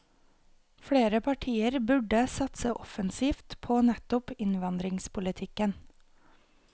Flere partier burde satse offensivt på nettopp innvandringspolitikken.